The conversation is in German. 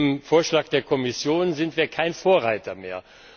Mit dem Vorschlag der Kommission sind wir kein Vorreiter mehr.